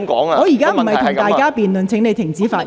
我現在不會與議員辯論，請你停止發言。